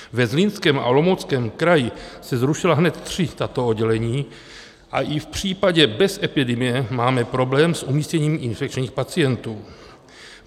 Ve Zlínském a Olomouckém kraji se zrušila hned tři tato oddělení a i v případě bez epidemie máme problém s umístěním infekčních pacientů.